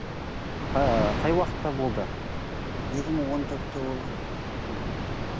ы қай уақытта болды екі мың он төртте болған мхм